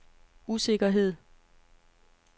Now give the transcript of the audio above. usikkerhed